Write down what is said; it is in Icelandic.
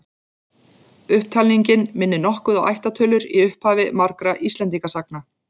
Upptalningin minnir nokkuð á ættartölur í upphafi margra Íslendingasagna.